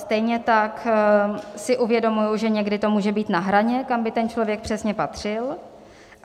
Stejně tak si uvědomuji, že někdy to může být na hraně, kam by ten člověk přesně patřil.